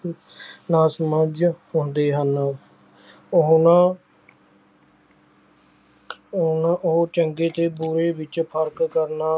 ਨਾਸਮਝ ਹੁੰਦੇ ਹਨ ਉਹਨਾਂ ਉਹਨਾਂ ਉਹ ਚੰਗੇ ਤੇ ਬੁਰੇ ਵਿੱਚ ਫ਼ਰਕ ਕਰਨਾ